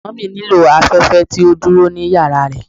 Mummy nilo alafẹfẹ ti o duro ni yara rẹ